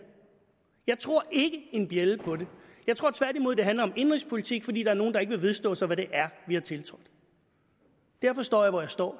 jeg tror ikke en bjælde på det jeg tror tværtimod det handler om indenrigspolitik fordi der er nogle der ikke vil vedstå sig hvad det er vi har tiltrådt derfor står jeg hvor jeg står